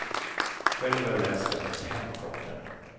Själv har jag läst den fem gånger.